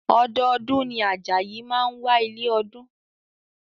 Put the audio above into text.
Ọdọọdún ni Ajayi máa ń wá ilé ọdún